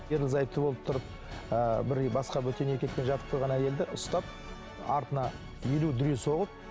ерлі зайыпты болып тұрып ыыы бір басқа бөтен еркекпен жатып қойған әйелді ұстап артына елу дүре соғып